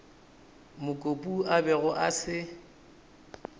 mokopu a bego a se